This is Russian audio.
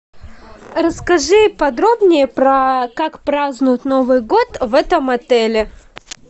расскажи подробнее про как празднуют новый год в этом отеле